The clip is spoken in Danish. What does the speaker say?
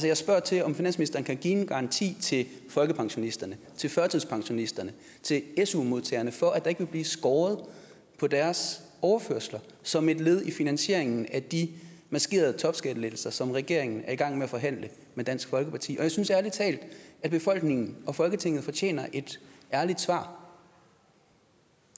jeg spørger til om finansministeren kan give en garanti til folkepensionisterne til førtidspensionisterne og til su modtagerne for at der ikke vil blive skåret på deres overførsler som et led i finansieringen af de maskerede topskattelettelser som regeringen er i gang med at forhandle med dansk folkeparti og jeg synes ærlig talt at befolkningen og folketinget fortjener et ærligt svar